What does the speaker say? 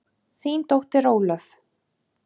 Þín dóttir Ólöf.